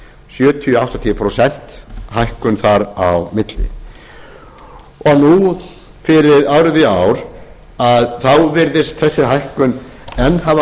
sjötíu til áttatíu prósent hækkun þar á milli nú fyrir árið í ár virðist þessi hækkun enn hafa